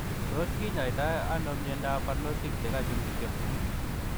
Tos kinyaitoo anoo miondoop parnotik chekachuun kityo